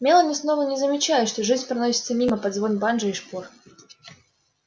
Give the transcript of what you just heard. мелани словно не замечает что жизнь проносится мимо под звон банджо и шпор